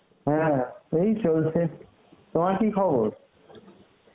হ্যাঁ এই চলছে, তোমার কী খবর?